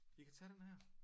Vi kan tage den her